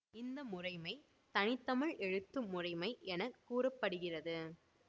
இந்த முறைமை தனித்தமிழ் எழுத்து முறைமை என கூற படுகிறது